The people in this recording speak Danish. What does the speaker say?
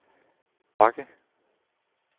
bakke